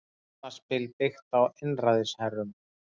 Barnaspil byggt á einræðisherrum